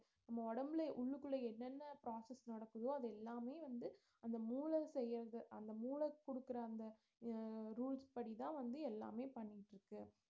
நம்ம உடம்புல உள்ளுக்குள்ள என்னனென்ன process நடக்குதோ அது எல்லாமே வந்து அந்த மூளை செய்யறது அந்த மூள குடுக்கற அந்த அஹ் rules படி தான் வந்து எல்லாமே பண்ணிட்டு இருக்கு